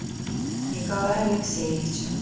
николая алексеевича